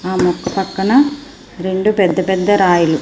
ఆ మొక్క పక్కన రెండు పెద్ద పెద్ద రాయలు.